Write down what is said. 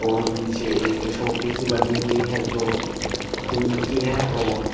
और नीचे एक झोपड़ी सी बनी हुई है जो टीन की है और --